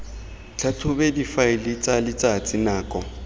tlhatlhobe difaele tsa letsatsi nako